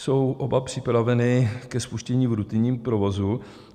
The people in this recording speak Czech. Jsou oba připraveny ke spuštění v rutinním provozu?